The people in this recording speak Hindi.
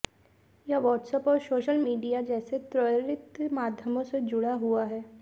यह वाट्स एप्प और सोशल मीडिया जैसे त्वरित माध्यमों से जुड़ा हुआ है